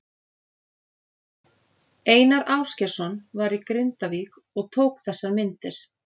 Einar Ásgeirsson var í Grindavík og tók þessar myndir.